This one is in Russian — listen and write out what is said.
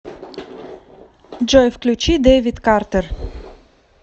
джой включи дэвид картер